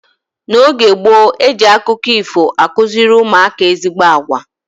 N'oge gboo, eji akụkọ ifo akụziri ụmụaka ezigbo agwa.